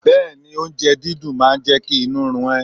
Bẹ́ẹ̀ni, oúnjẹ dídùn máa jẹ́ kí inú run ẹ.